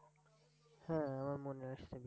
হ্যাঁ! আমার মনে আসসে